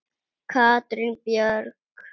Katrín Björk.